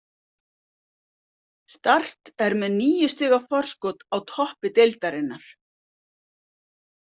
Start er með níu stiga forskot á toppi deildarinnar.